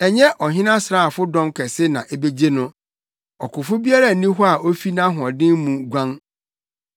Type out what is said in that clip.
Ɛnyɛ ɔhene asraafo dɔm kɛse na ebegye no; ɔkofo biara nni hɔ a ofi nʼahoɔden mu guan.